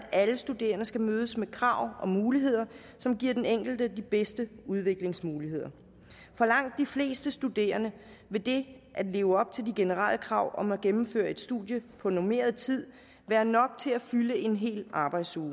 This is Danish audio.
at alle studerende skal mødes med krav og muligheder som giver den enkelte de bedste udviklingsmuligheder for langt de fleste studerende vil det at leve op til de generelle krav om at gennemføre et studie på normeret tid være nok til at fylde en hel arbejdsuge